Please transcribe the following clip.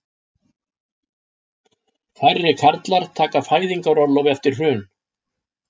Færri karlar taka fæðingarorlof eftir hrun